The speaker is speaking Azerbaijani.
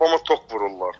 Papama tok vururlar.